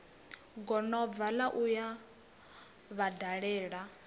gonobva la u yo vhadalela